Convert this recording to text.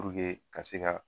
ka se ka